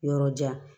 Yɔrɔ jan